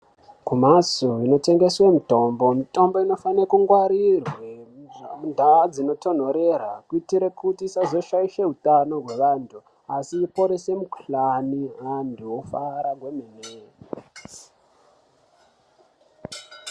Kumhatso inotengese mutombo, mutombo inofane kungwarirwe mundau dzinotonhorera kuitire kuti isashaishe utano hwevantu asi iponese utano antu ofara kwemene.